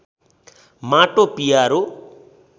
माटो पियारो